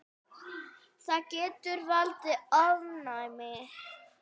Það getur valdið ofnæmi.